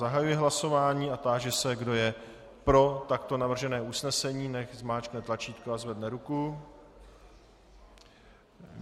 Zahajuji hlasování a táži se, kdo je pro takto navržené usnesení, nechť zmáčkne tlačítko a zvedne ruku.